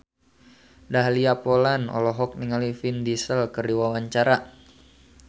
Dahlia Poland olohok ningali Vin Diesel keur diwawancara